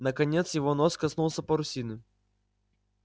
наконец его нос коснулся парусины